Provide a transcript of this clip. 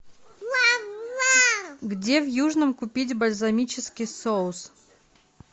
где в южном купить бальзамический соус